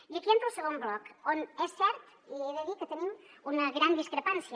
i aquí entra el segon bloc on és cert i he de dir que tenim una gran discrepància